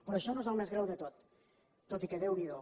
però això no és el més greu de tot tot i que déu n’hi do